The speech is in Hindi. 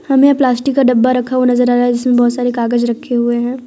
हमें प्लास्टिक का डब्बा रखा हुआ नजर आ रहा है जिसमें बहुत सारे कागज रखे हुए हैं।